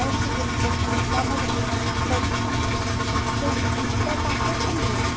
Aí eu cheguei num posto policial, mas eu chorava tanto, tanto, que os pés estavam até sangrando.